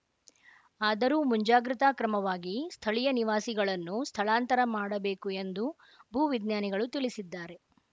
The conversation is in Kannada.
ಆದರೂ ಮುಂಜಾಗ್ರತಾ ಕ್ರಮವಾಗಿ ಸ್ಥಳೀಯ ನಿವಾಸಿಗಳನ್ನು ಸ್ಥಳಾಂತರ ಮಾಡಬೇಕು ಎಂದು ಭೂ ವಿಜ್ಞಾನಿಗಳು ತಿಳಿಸಿದ್ದಾರೆ